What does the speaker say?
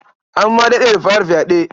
An ma daɗe da fara fyaɗe.